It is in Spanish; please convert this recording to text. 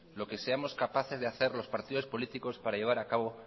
lo que seamos capaces de hacer los partidos políticos para llevar acabo